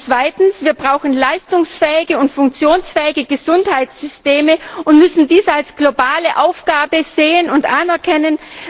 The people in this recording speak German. Zweitens Wir brauchen leistungsfähige und funktionsfähige Gesundheitssysteme und müssen dies als globale Aufgabe sehen und anerkennen.